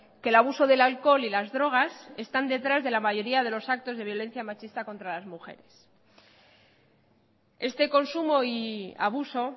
que el abuso del alcohol y las drogas están detrás de la mayoría de los actos de violencia machista contra las mujeres este consumo y abuso